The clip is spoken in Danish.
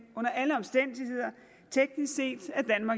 under alle omstændigheder teknisk set